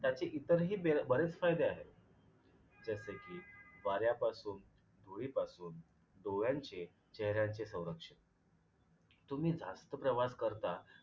त्याचे इतरही बर बरेच फायदे आहेत. जसे कि वाऱ्यापासून, धुळीपासून, डोळ्यांचे, चेहऱ्यांचे संरक्षण. तुम्ही जास्त प्रवास करता